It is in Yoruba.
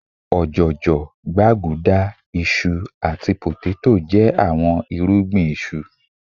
òjòjò, gbaguda, iṣu ati poteto jẹ awọn irugbin isu